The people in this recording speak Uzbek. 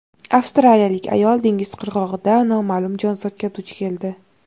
Avstraliyalik ayol dengiz qirg‘og‘ida noma’lum jonzotga duch keldi.